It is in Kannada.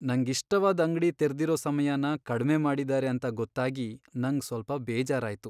ನಂಗಿಷ್ಟವಾದ್ ಅಂಗ್ಡಿ ತೆರ್ದಿರೋ ಸಮಯನ ಕಡ್ಮೆ ಮಾಡಿದಾರೆ ಅಂತ ಗೊತ್ತಾಗಿ ನಂಗ್ ಸ್ವಲ್ಪ ಬೇಜಾರಾಯ್ತು.